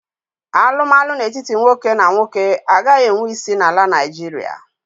Alụmalụ n'etiti nwoke na nwoke agaghị enwe isi na ala Naijiria.